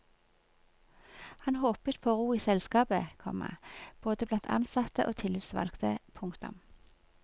Han håpet på ro i selskapet, komma både blant ansatte og tillitsvalgte. punktum